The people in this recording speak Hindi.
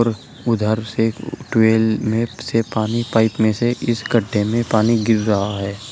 उधर से ट्यूबवेल में से पानी पाइप मे से इस गड्ढे में पानी गिर रहा है।